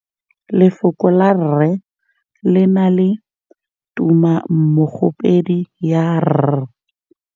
Lefoko la rre le na le tumammogôpedi ya, r.